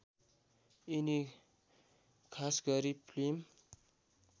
यिनी खासगरी फिल्म